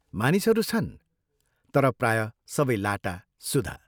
मानिसहरू छन्, तर प्रायः सबै लाटा, सुधा।